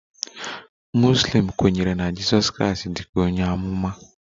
Muslim kwere na Jizọs Kraịst dị ka onye amụma